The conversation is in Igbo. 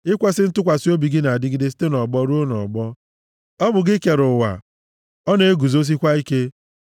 Ikwesi ntụkwasị obi gị na-adịgide site nʼọgbọ ruo nʼọgbọ; ọ bụ gị kere ụwa, ọ na-eguzosikwa ike.